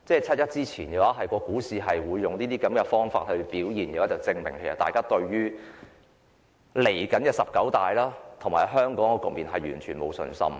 七一之前，股市的表現會證明，大家對未來的十九大及香港的局面完全沒有信心。